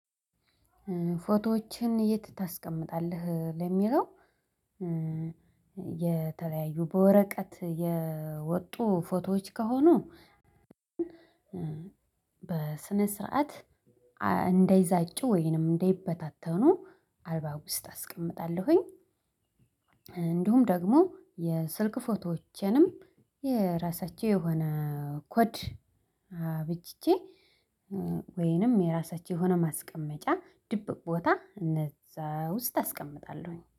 ፎቶዎችህን የት ታስቀመጣለህ? ለሚለው የተለያዩ በወረቀት የወጡ ፎቶዎች ከሆኑ በስነ ስርዓት እንደይዛጩ ወይንም እንደይበታተኑ አልበም ውስጥ አስቀምጣለሁኝ እንዲሁም ደግሞ የስልክ ፎቶዎቼንም የራሳቸው የሆነ ኮድ አበጅቼ ወይንም የራሳቸው የሆነ ማስቀመጫ ድብቅ ቦታ እነዛ ውስጥ አስቀምጣለሁኝ